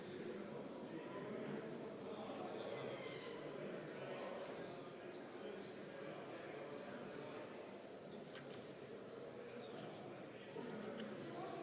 Palun valimiskomisjoni liikmetel asuda hääli lugema!